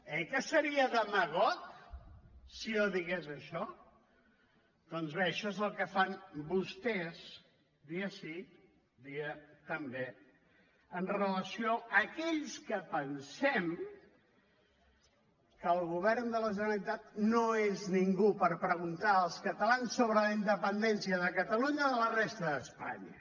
oi que seria demagog si jo digués això doncs bé això és el que fan vostès dia sí dia també amb relació a aquells que pensem que el govern de la generalitat no és ningú per preguntar als catalans sobre la independència de catalunya de la resta d’espanya